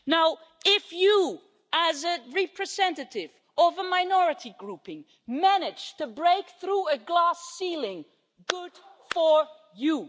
Now, if you, as a representative of a minority grouping, manage to break through a glass ceiling, good for you.